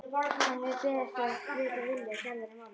Hann hefur beðið eftir að vita vilja Gerðar í málinu.